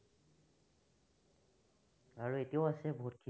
আৰু এতিয়াও আছে বহুতখিনি।